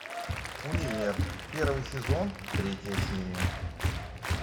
универ первый сезон третья серия